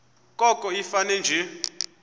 koko ifane nje